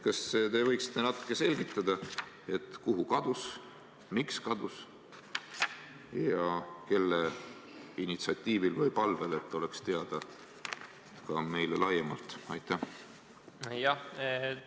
Kas te võiksite natuke selgitada, kuhu see kadus, miks kadus ja kelle initsiatiivil või palvel, et see oleks teada ka meile laiemalt?